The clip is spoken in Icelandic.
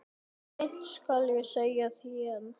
Sleip skal ég segja þér.